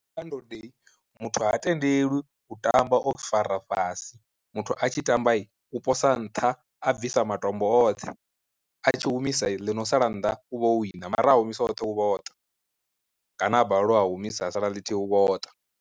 Kha ndode muthu ha tendeliwi u tamba o fara fhasi, muthu a tshi tamba u posa nṱha a bvisa matombo oṱhe a tshi humisa ḽi no sala nnḓa u vha o wina, mara a humisa oṱhe u vha o ṱa kana a balelwa a humisa ha sala ḽithihi u vha o ṱa.